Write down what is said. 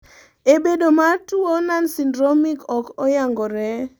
e bedoe mar tuo nonsyndromic ok oyangore